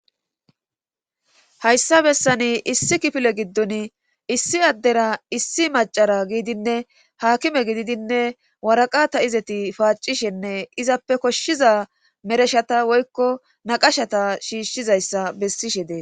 Hayssa bessani issi kifile giddon issi addera issi macara giidinne haakime gididinne waraqata izeti paacishenne izappe koshshiza mereshata woykko naqashata shiishshizayssa bessishe dee.